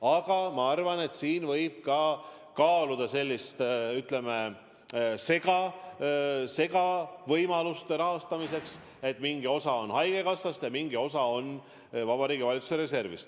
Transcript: Aga ma arvan, et võib ka kaaluda sellist, ütleme, segavõimalust rahastamiseks: mingi osa on haigekassast ja mingi osa on Vabariigi Valitsuse reservist.